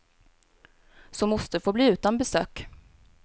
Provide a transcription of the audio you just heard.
Så moster får bli utan besök.